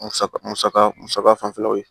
Musaka musaka musaka fanfɛlaw ye